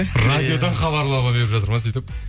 радиодан хабарлама беріп жатыр ма сөйтіп